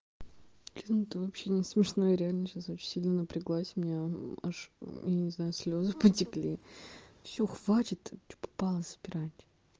блин это вообще не смешно реально сейчас очень сильно напряглась меня аж я не знаю слезы потекли всё хватит что попало собирать